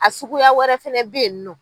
A suguya wɛrɛ fɛnɛ bɛ yen nɔ.